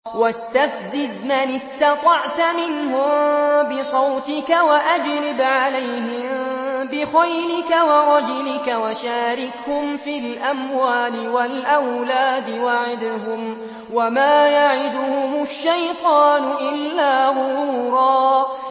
وَاسْتَفْزِزْ مَنِ اسْتَطَعْتَ مِنْهُم بِصَوْتِكَ وَأَجْلِبْ عَلَيْهِم بِخَيْلِكَ وَرَجِلِكَ وَشَارِكْهُمْ فِي الْأَمْوَالِ وَالْأَوْلَادِ وَعِدْهُمْ ۚ وَمَا يَعِدُهُمُ الشَّيْطَانُ إِلَّا غُرُورًا